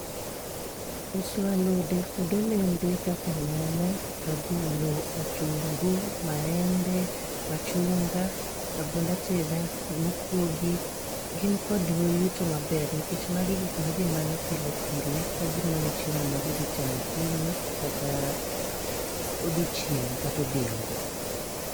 Uso alode kod olembe kaka nyanya, rabolo, otungu, maembe, machunga, rabond ateda, mokwogi, gin kod yuto maber. Nikech magi gik ma ji manyo pile pile ka gimanyo chiemo ma gidhi chamo okinyi, kata odhiochieng' katodhiambo.